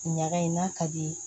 Ɲaga in n'a ka di ye